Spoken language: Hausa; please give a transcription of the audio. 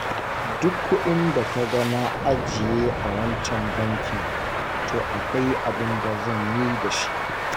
Duk kuɗin da ka ga na ajiye a wancan bankin, to akwai abin da zan yi da shi.